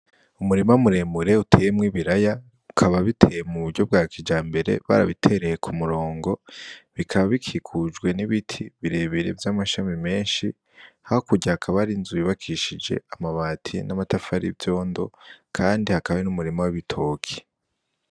Umurima Muremure Uteyemw'Ibiraya Ukaba Biteye Mu Buryo Bwa Kijambere, Barabitereye Kumurongo, Bikaba Bikikujwe N'Ibiti Birebire Vy'Amashami Menshi. Hakurya Hakaba Hari Inzu Yubakishije Amabati N'Amatafari Y'Ivyondo, Kandi Hakaba Hari N'Umurima W'Ibitoki.